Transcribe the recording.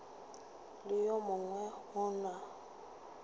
le yo mongwe o na